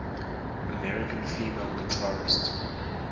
american female guitarists